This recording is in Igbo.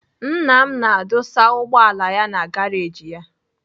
Nna m na-adụsa ụgbọala ya na garaji ya.